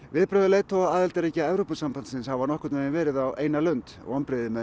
viðbrögð leiðtoga aðildarríkja Evrópusambandsins hafa nokkurn veginn verið á eina lund vonbrigði með